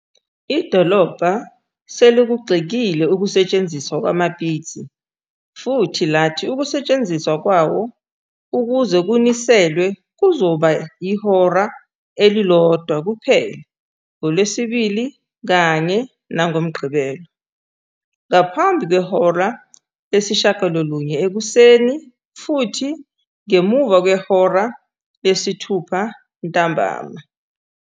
Idolobha selikugxekile ukusetshenziswa kwamapitsi futhi lathi ukusetshenziswa kwawo ukuze kuniselwe kuzoba ihora elilodwa kuphela ngoLwesibili kanye nangoMgqibelo, ngaphambi kwehora lesi-9 ekuseni futhi ngemuva kwehora lesi-6 ntambama.